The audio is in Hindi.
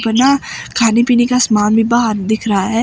बना खाने पीने का सामान भी बाहर दिख रहा है।